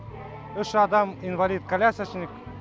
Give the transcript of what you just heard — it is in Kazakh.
үш адам инвалид колясочник